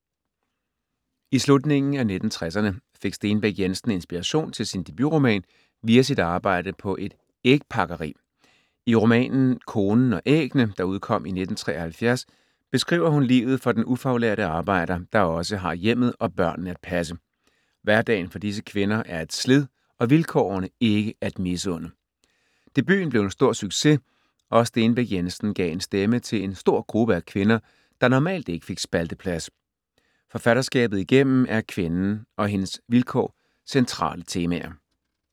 I slutningen af 1960erne fik Stenbæk Jensen inspiration til sin debutroman via sit arbejde på et ægpakkeri. I romanen Konen og æggene, der udkom i 1973, beskriver hun livet for den ufaglærte arbejder, der også har hjemmet og børnene at passe. Hverdagen for disse kvinder er et slid og vilkårene ikke at misunde. Debuten blev en stor succes og Stenbæk Jensen gav en stemme til en stor gruppe af kvinder, der normalt ikke fik spalteplads. Forfatterskabet igennem er kvinden og hendes vilkår centrale temaer.